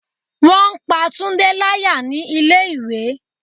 Wọn pá Tunde láyà ní ilé ìwé.